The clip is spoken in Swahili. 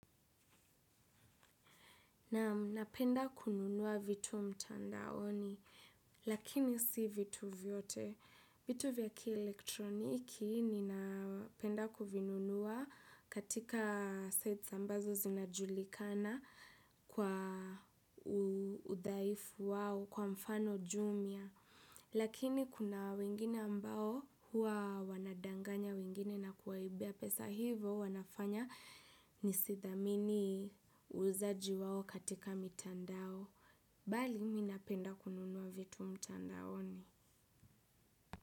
Napenda kununua vitu mtandaoni, lakini si vitu vyote. Vitu vya ki elektroniki ni napenda kuvinunua katika sites ambazo zinajulikana kwa udhaifu wao kwa mfano jumia. Lakini kuna wengine ambao huwa wanadanganya wengine na kuwaibia pesa hivo wanafanya nisithamini uuzaji wao katika mitandao. Bali mimi napenda kununua vitu mtandaoni.